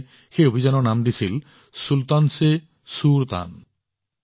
তেওঁলোকে এই অভিযানৰ নাম দিছিল চুলতান চে সুৰতান